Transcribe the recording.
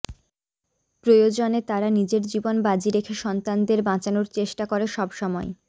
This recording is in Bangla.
প্রয়োজনে তারা নিজের জীবন বাজি রেখে সন্তানদের বাঁচানোর চেষ্টা করে সব সময়